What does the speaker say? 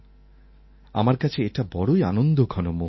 আমার কাছে এটা বড়ই আনন্দঘন মুহূর্ত